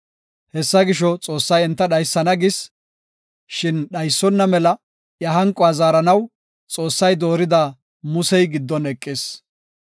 Hessa gisho, Xoossay enta dhaysana gis; shin dhaysonna mela iya hanqo zaaranaw, Xoossay doorida Musey giddon eqis.